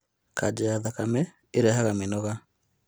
kanja ya thakame ĩrehaga mĩnoga